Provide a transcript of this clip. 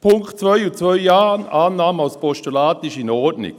Den Punkt 2 als Postulat anzunehmen ist in Ordnung.